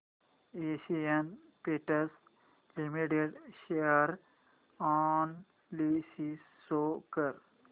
Asian Paints Limited share analysis show कर